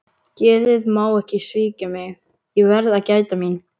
Geðið má ekki svíkja mig, ég verð að gæta mín.